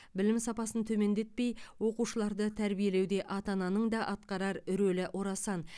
білім сапасын төмендетпей оқушыларды тәрбиелеуде ата ананың да атқарар рөлі орасан